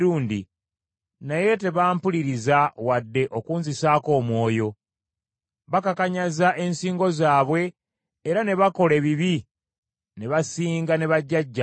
Naye tebampuliriza wadde okunzisaako omwoyo, bakakanyaza ensingo zaabwe era ne bakola ebibi ne basinga ne bajjajjaabwe.